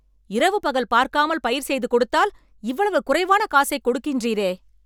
இரவு பகல் பார்க்காமல் பயிர் செய்து கொடுத்தால் இவ்வளவு குறைவான காசை கொடுக்கின்றீரே..